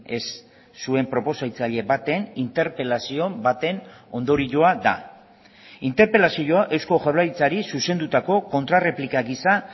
ez zuen proposatzaile baten interpelazio baten ondorioa da interpelazioa eusko jaurlaritzari zuzendutako kontrarreplika gisa